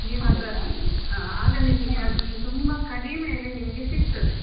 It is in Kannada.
ನೀವ್ ಅದ್ರಲ್ಲಿ ಆಗ ನಿಮ್ಗೆ ತುಂಬಾ ಕಡಿಮೆಯಲ್ಲಿ ನಿಮ್ಗೆ ಸಿಕ್ತದೆ.